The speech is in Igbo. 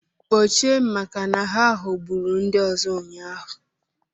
Kpochie maka na ha ghọgburu ndị ọzọ ụnyaahụ